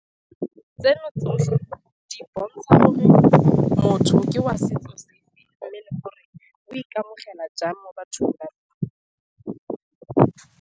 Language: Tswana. Tseno tsotlhe di bontsha gore motho ke wa setso sefe, mme le gore o ikamogela jang mo ba .